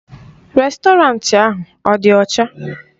Rèstọrantị ahụ ọ dị ọcha?